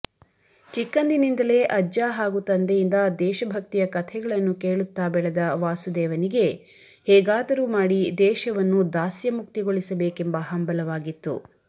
ಚಿಕ್ಕಂದಿನಿಂದಲೇ ಅಜ್ಜ ಹಾಗೂ ತಂದೆಯಿಂದ ದೇಶಭಕ್ತಿಯ ಕಥೆಗಳನ್ನು ಕೇಳುತ್ತಾ ಬೆಳೆದ ವಾಸುದೇವನಿಗೆ ಹೇಗಾದರೂ ಮಾಡಿ ದೇಶವನ್ನು ದಾಸ್ಯಮುಕ್ತಿಗೊಳಿಸಬೇಕೆಂಬ ಹಂಬಲವಾಗಿತ್ತು